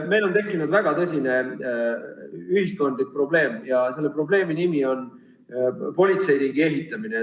Meil on tekkinud väga tõsine ühiskondlik probleem ja selle probleemi nimi on politseiriigi ehitamine.